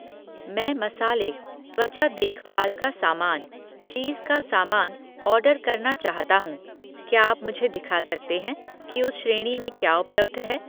मैं मसाले, त्वचा देखभाल का सामान, चीज़ का सामान ऑर्डर करना चाहता हूँ, क्या आप मुझे दिखा सकते हैं कि उस श्रेणी में क्या उपलब्ध है?